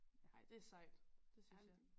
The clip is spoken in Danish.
Ej det sejt det synes jeg